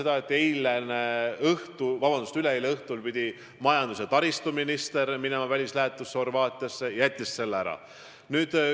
Ma tean seda, et üleeile õhtul pidi majandus- ja taristuminister minema välislähetusse Horvaatiasse, ta jättis selle ära.